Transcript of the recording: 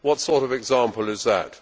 What sort of example is that?